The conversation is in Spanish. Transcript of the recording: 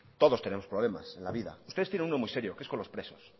todos tenemos problemas en la vida ustedes tienen uno muy serio que es con los presos